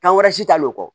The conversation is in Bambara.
Kan wɛrɛ si tal'o kɔ